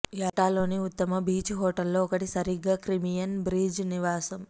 యల్టాలోని ఉత్తమ బీచ్ హోటళ్లలో ఒకటి సరిగ్గా క్రిమియన్ బ్రీజ్ నివాసం